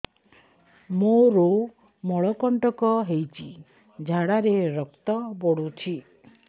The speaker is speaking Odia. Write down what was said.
ମୋରୋ ମଳକଣ୍ଟକ ହେଇଚି ଝାଡ଼ାରେ ରକ୍ତ ପଡୁଛି